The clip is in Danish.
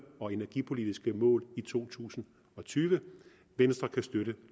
og energipolitiske mål i to tusind og tyve venstre kan støtte